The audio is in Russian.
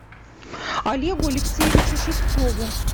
олегу алексеевичу шевцову